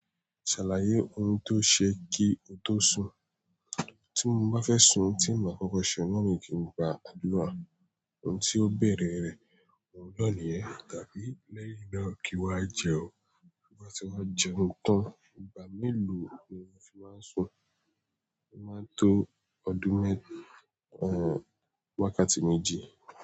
Ṣàlàyé ohun tó ṣe kí o tó sùn. Tí mo bá fẹ́ sun ohun tí màá kọ́kọ́ ṣe náà ní kí n gba àdúrà, ohun tí ó bẹ̀rẹ̀ rẹ̀, òun náà nìyẹn tàbí lẹ́yìn náà kí wá jẹun. Bí mo bá ti wá jẹun tán, ìgbà mélòó ni o fi máa ń sun? Mo máa ń to ọdún mé eeh wákàtí méjì.